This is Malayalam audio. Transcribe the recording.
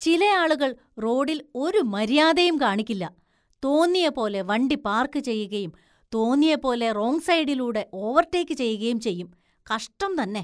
ചിലയാളുകള്‍ റോഡില്‍ ഒരു മര്യാദയും കാണിക്കില്ല, തോന്നിയ പോലെ വണ്ടി പാര്‍ക്ക് ചെയ്യുകയും തോന്നിയ പോലെ റോങ് സൈഡിലൂടെ ഓവര്‍ടേക്ക് ചെയ്യുകയും ചെയ്യും, കഷ്ടം തന്നെ.